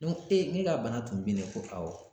e ka bana tun binnen ko awɔ